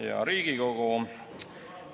Hea Riigikogu!